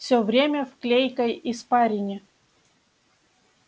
всё время в клейкой испарине